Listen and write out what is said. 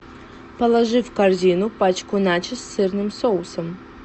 положи в корзину пачку начос с сырным соусом